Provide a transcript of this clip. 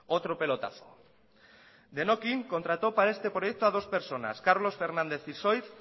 otro pelotazo denokin contrató para este proyecto a dos personas carlos fernández isoird